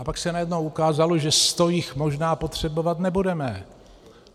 A pak se najednou ukázalo, že 100 jich možná potřebovat nebudeme.